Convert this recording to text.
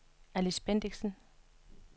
Alice Bendixen